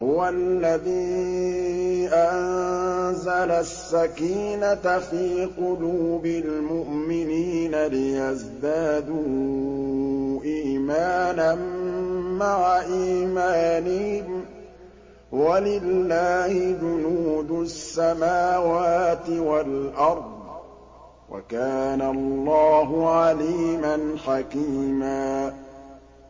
هُوَ الَّذِي أَنزَلَ السَّكِينَةَ فِي قُلُوبِ الْمُؤْمِنِينَ لِيَزْدَادُوا إِيمَانًا مَّعَ إِيمَانِهِمْ ۗ وَلِلَّهِ جُنُودُ السَّمَاوَاتِ وَالْأَرْضِ ۚ وَكَانَ اللَّهُ عَلِيمًا حَكِيمًا